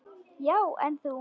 Já, en þú.